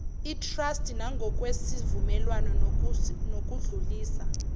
itrasti nangokwesivumelwano sokudlulisa